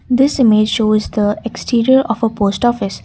this image shows the exterior of a post office.